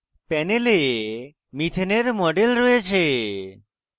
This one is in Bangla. প্যানেলে methane মিথেন এর মডেল রয়েছে